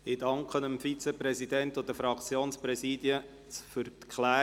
Ich danke dem Vizepräsidenten und den Fraktionspräsidien für die Klärung.